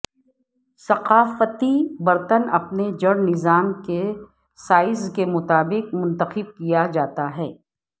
ثقافتی برتن اپنے جڑ نظام کے سائز کے مطابق منتخب کیا جاتا ہے